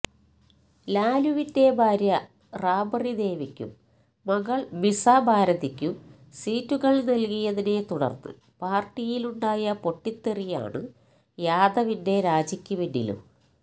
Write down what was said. ലാലുവിന്റെ ഭാര്യ രാബ്റി ദേവിക്കും മകള് മിസ ഭാരതിക്കും സീറ്റുകള് നല്കിയതിനെത്തുടര്ന്ന് പാര്ട്ടിയിലുണ്ടായ പൊട്ടിത്തെറിയാണ് യാദവിന്റെ രാജിക്കു പിന്നിലും